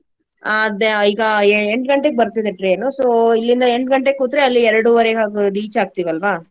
ಆ ಆದ್ ಈಗಾ ಎ~ ಎಂಟ್ ಗಂಟೆಗ್ ಬರ್ತಿದೆ train ನು. So ಇಲ್ಲಿಂದ ಎಂಟ್ ಗಂಟೆಗ್ ಕೂತ್ರೆ ಅಲ್ಲಿ ಎರ್ಡುವರೆ ಹಾಗೆ reach ಆಗ್ತಿವ್ ಅಲ್ವಾ.